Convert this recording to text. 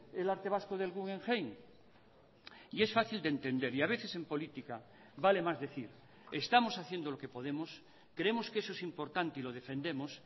el arte vasco del guggenheim y es fácil de entender y a veces en política vale más decir estamos haciendo lo que podemos creemos que eso es importante y lo defendemos